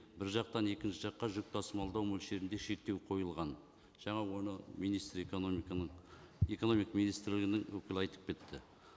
бір жақтан екінші жаққа жүк тасымалдау мөлшерінде шектеу қойылған жаңа оны министр экономиканың экономика министрінің өкілі айтып кетті